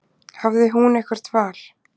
Hafði hún eitthvert val?